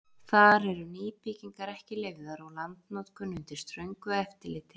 Þar eru nýbyggingar ekki leyfðar og landnotkun undir ströngu eftirliti.